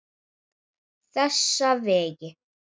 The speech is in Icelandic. Þessa veggi.